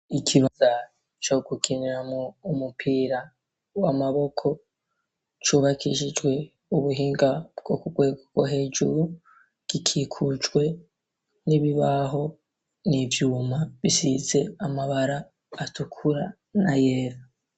Ikibuga co gukiniramwo umupira w'amaboko, cubakiijwe ubuhinga bwo ku rwego rwo hejuru, gikikujwe n'ibibaho, n'ivyuma bisize amabara atukura n'ayera.